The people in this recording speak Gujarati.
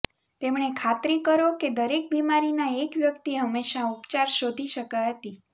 તેમણે ખાતરી કરો કે દરેક બીમારીના એક વ્યક્તિ હંમેશા ઉપચાર શોધી શકે હતી